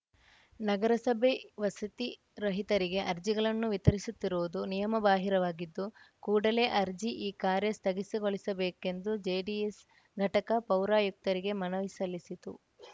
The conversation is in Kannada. ನಗರಸಭೆ ವಸತಿ ರಹಿತರಿಗೆ ಅರ್ಜಿಗಳನ್ನು ವಿತರಿಸುತ್ತಿರುವುದು ನಿಯಮ ಬಾಹಿರವಾಗಿದ್ದು ಕೂಡಲೇ ಅರ್ಜಿ ಈ ಕಾರ್ಯ ಸ್ಥಗಿಸಗೊಳಿಸಬೇಕೆಂದು ಜೆಡಿಎಸ್‌ ಘಟಕ ಪೌರಾಯುಕ್ತರಿಗೆ ಮನವಿ ಸಲ್ಲಿಸಿತು